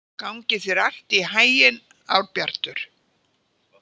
Gangi þér allt í haginn, Árbjartur.